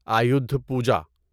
Ayudha Puja